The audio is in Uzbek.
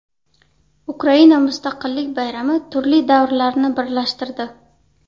Ukraina mustaqillik bayrami turli davrlarni birlashtirdi.